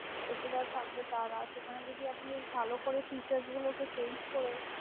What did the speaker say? এসে থাকবে তারা সেখানে যদি আপনি ভালো করে fiture গুলো কে change করা